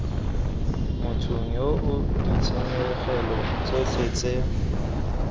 mothong yoo ditshenyegelo tsotlhe tse